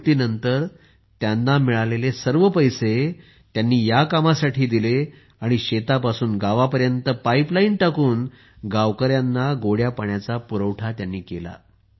निवृत्तीनंतर त्यांना मिळालेले सर्व पैसे त्यांनी या कामासाठी दिले आणि शेतापासून गावापर्यंत पाईपलाईन टाकून गावकऱ्यांना गोड्या पाण्याचा पुरवठा केला